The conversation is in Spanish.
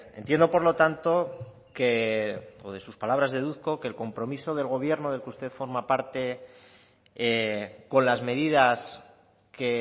entiendo por lo tanto que o de sus palabras deduzco que el compromiso del gobierno del que usted forma parte con las medidas que